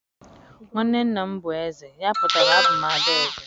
nwanne nna m bu eze, ya putara abum ada eze.